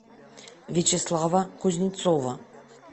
вячеслава кузнецова